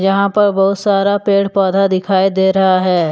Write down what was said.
यहां पर बहुत सारा पेड़ पौधा दिखाई दे रहा है।